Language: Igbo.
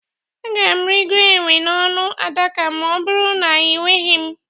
Agaara m igoro enwe n'ọnụ adaka ma ọ bụrụ na ị gwaghị m.